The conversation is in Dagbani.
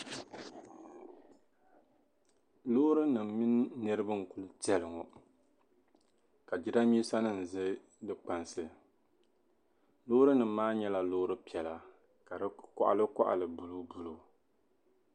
Loorinima mini niriba n-ku tɛli ŋɔ ka jidambiisanima za di kpansi. Loorinima maa nyɛla loori piɛla ka di kɔɣilikɔɣili buluubuluu.